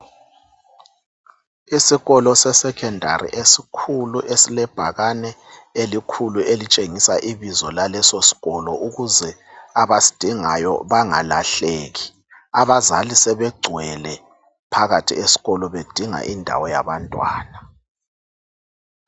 Isikolo sesekhendari esikhulu esilebhakane elikhulu elitshengisa ibizo lalesosikolo ukuze abasidingayo bangalahleki. Abazali sebegcwele phakathi esikolo bedinga indawo yabantwana.